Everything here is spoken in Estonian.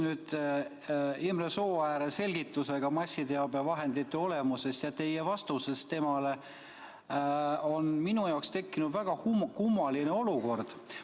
Seoses Imre Sooääre selgitusega massiteabevahendite olemuse kohta ja teie vastusega temale on minu jaoks tekkinud väga kummaline olukord.